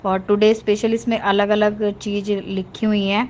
For today special इसमें अलग अलग चीज लिखी हुई हैं।